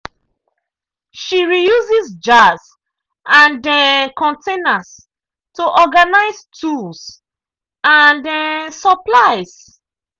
she reuses jars and um containers to organize tools and um supplies.